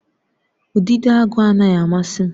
Udidoagu anaghị amasị m